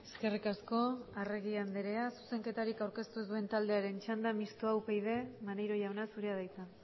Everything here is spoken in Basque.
eskerrik asko arregi andrea zuzenketarik aurkeztu ez duen taldearen txanda mistoa upyd maneiro jauna zurea da hitza